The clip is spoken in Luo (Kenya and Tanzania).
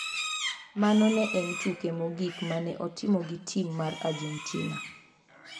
Mano ne en tuke mogik ma ne otimo gi tim mar Argentina.